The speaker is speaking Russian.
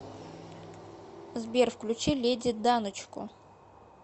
сбер включи леди даночку